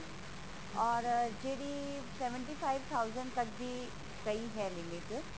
or ਜਿਹੜੀ seventy five thousand ਤੱਕ ਦੀ ਪਈ ਹੈ limit